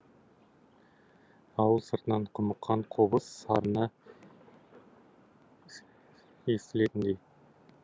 ауыл сыртынан құмыққан қобыз сарыны естілетіндей